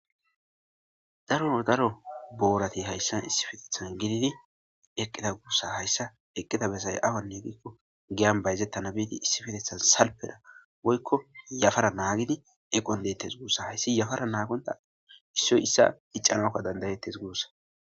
daro daro boorati hayssan issifeteeththan gididi eqqida guussa hayssa eqqida besay awanne diikko giyan bayzettana biidi issifetethan salpena woykko yafara naagidi equwan deetes guussa hayssi yafara naaqonta issoy issa icanakka dandayetes guussa